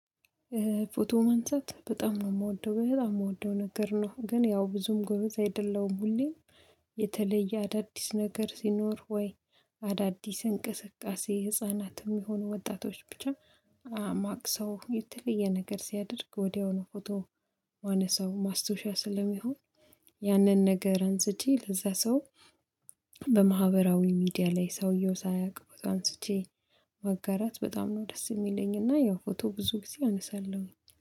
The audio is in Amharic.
ፎቶ ማንሳት በጣም ነው የምወደው። በጣም የምወደው ነገር ነው፤ ግን ያው ብዙም ጎበዝ አይደለም። ሁሌም የተለየ አዳዲስ ነገር ሲኖር፣ ወይ አዳዲስ እንቅስቃሴ ህፃናትም ይሁኑ ወጣቶች ብቻ ማቅሰው የተለየ ነገር ሲያደርግ ወዲያውኑ ፎቶ ማነሳው ማስታወሻ ስለሚሆን ያንን ነገር አንስቼ ለዛ ሰው በማህበራዊ ሚዲያ ላይ ሰውየው ሳያውቅ ፎቶ አንስቼ ማጋራት በጣም ነው ደስ የሚለኝ። እና ያው ፎቶ ብዙ ጊዜ አነሳለሁኝ።